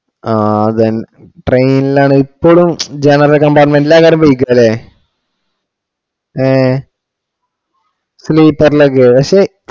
ആഹ് അതന്നെ train ലാണ് ഇപ്പോളും general compartment ലാണ് എല്ലാരും ഉപയോഗിക്കന്നെ ലേ ഏഹ് sleeper ലൊക്കെ പഷേ